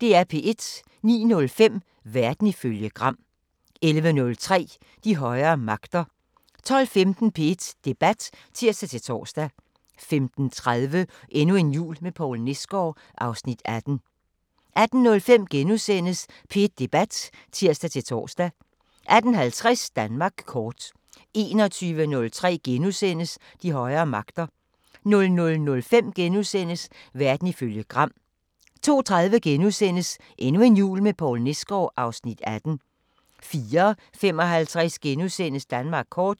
09:05: Verden ifølge Gram 11:03: De højere magter 12:15: P1 Debat (tir-tor) 15:30: Endnu en jul med Poul Nesgaard (Afs. 18) 18:05: P1 Debat *(tir-tor) 18:50: Danmark kort 21:03: De højere magter * 00:05: Verden ifølge Gram * 02:30: Endnu en jul med Poul Nesgaard (Afs. 18)* 04:55: Danmark kort *